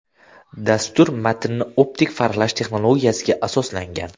Dastur matnni optik farqlash texnologiyasiga asoslangan.